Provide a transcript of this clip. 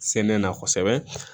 Sɛnɛ na kosɛbɛ